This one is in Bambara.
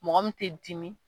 Mɔgɔ min tɛ dimi